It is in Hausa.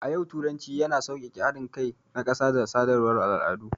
A yau, turanci yana sauƙaƙe haɗin kai na ƙasa da sadarwar al'adu.